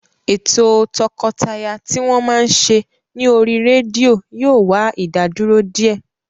Ètò o tọkọtaya tí wọ́n máa ń ṣe ní oríi rédíò yóò wá ìdádúró díẹ̀